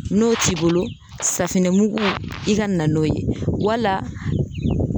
N'o t'i bolo safinɛmugu i ka na n'o ye, wala